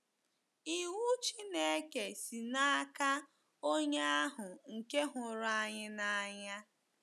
Iwu Chineke si n’aka Onye ahụ nke hụrụ anyị n’anya.